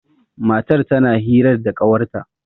matar tana hirar da kawarta